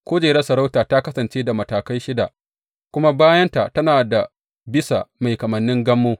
Kujera sarautar ta kasance da matakai shida, kuma bayanta tana da bisa mai kamannin gammo.